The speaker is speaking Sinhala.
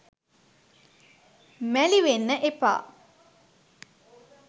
මැළි වෙන්න එපා.